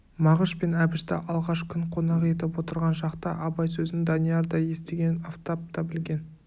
мағыш пен әбішті алғаш күн қонақ етіп отырған шақта абай сөзін данияр да естіген афтап та білген